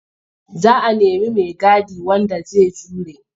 Za a nemi maigadi wanda zai jure.